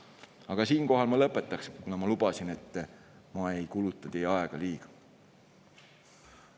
Aga siinkohal ma lõpetan, kuna ma lubasin, et ma ei kuluta teie aega liiga palju.